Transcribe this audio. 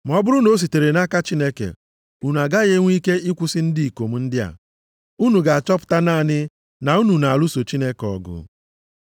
Ma ọ bụrụ na o sitere nʼaka Chineke, unu agaghị enwe ike ịkwụsị ndị ikom ndị a, unu ga-achọpụta naanị na unu na-alụso Chineke ọgụ.”